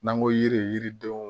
N'an ko yiri yiridenw